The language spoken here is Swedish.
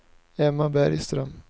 Emma Bergström